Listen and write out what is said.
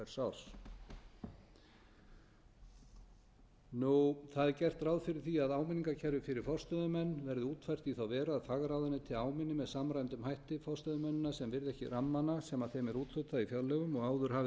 í fjárlögum hvers árs það er gert ráð fyrir því að áminningakerfi fyrir forstöðumenn verði útfært í þá veru að fagráðuneyti áminni með samræmdum hætti forstöðumennina sem virða rammana sem þeim er úthlutað í fjárlögum og áður hafi þeir